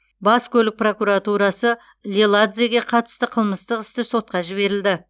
бас көлік прокуратурасы леладзеге қатысты қылмыстық істі сотқа жіберілді